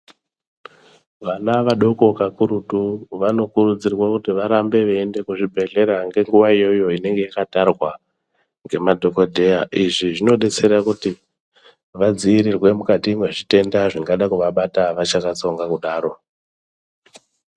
Vana vadoko kakurutu vanokurudzirwa kuti varambe veienda kuzvibhedhlera ngenguva iyoyo inenge yakatarwa nemadhokodheya izvi zvinobetsera kuti vadziirirwe mukati mezvitenda zvingada kuvabata vachakatsonga kudaro .